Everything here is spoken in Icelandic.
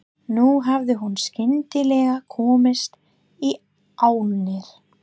Nú hafði hún skyndilega komist í álnir.